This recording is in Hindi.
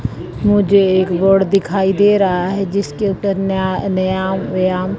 मुझे एक रोड दिखाई दे रहा है जिसके ऊपर ना नया व्यायाम--